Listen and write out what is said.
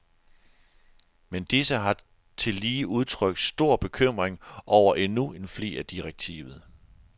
Men disse har tillige udtrykt stor bekymring over endnu en flig af direktivet.